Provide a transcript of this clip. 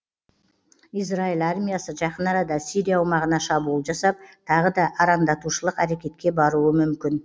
израиль армиясы жақын арада сирия аумағына шабуыл жасап тағы да араңдатушылық әрекетке баруы мүмкін